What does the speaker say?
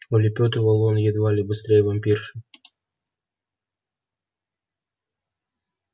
улепётывал он едва ли быстрее вампирши